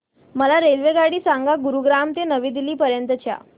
मला रेल्वेगाडी सांगा गुरुग्राम ते नवी दिल्ली पर्यंत च्या